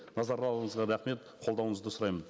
рахмет қолдауыңызды сұраймын